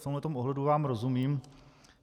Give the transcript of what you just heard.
V tomto ohledu vám rozumím.